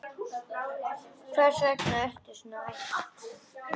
Hvers vegna ertu svona æst?